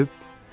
Ölüb?